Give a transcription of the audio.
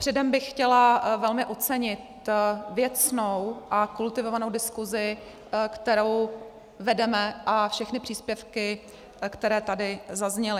Předem bych chtěla velmi ocenit věcnou a kultivovanou diskusi, kterou vedeme, a všechny příspěvky, které tady zazněly.